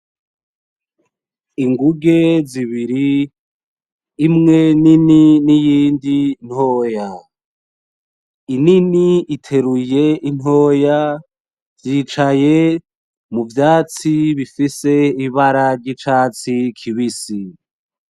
Ingunge z'ibiri. imwe nini n'iyindi ntoya. inini iteruye intoya ,zicaye muvyatsi bifise ibira zicatsi kibisi.